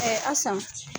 asan